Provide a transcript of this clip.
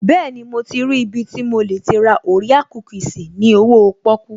Bẹ́ẹ̀ni, mo ti rí ibi tí mo lè ti ra orea kúkìsì ní owóo pọ́kú